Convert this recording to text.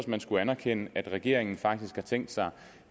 man skulle anerkende at regeringen faktisk har tænkt sig